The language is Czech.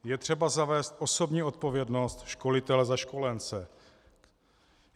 Je třeba zavést osobní odpovědnost školitele za školence.